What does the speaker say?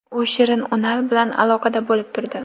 U Shirin Unal bilan aloqada bo‘lib turdi.